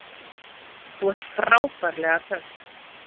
Þú ert frábærlega töff!